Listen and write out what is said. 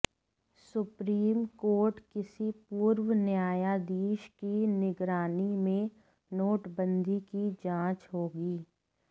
supreme court किसी पूर्व न्यायाधीश की निगरानी में नोटबंदी की जांच होगी